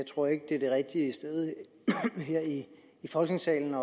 tror ikke det er det rigtige sted her i folketingssalen